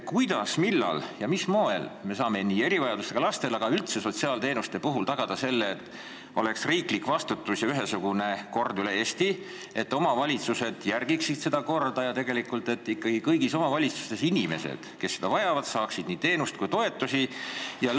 Kuidas, millal ja mil moel me saame erivajadusega lastele mõeldud teenuste, aga üldse sotsiaalteenuste puhul tagada selle, et oleks riiklik vastutus ja ühesugune kord üle Eesti, omavalitsused järgiksid seda korda ja ikkagi kõigis omavalitsustes inimesed, kes seda vajavad, saaksid nii teenuseid kui ka toetusi?